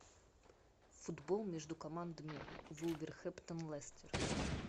футбол между командами вулверхэмптон лестер